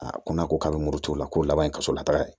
A ko n'a ko k'a bɛ muru t'o la ko laban in ka so la taga ye